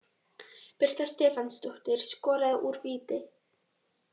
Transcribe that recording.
Birta Stefánsdóttir skoraði úr víti.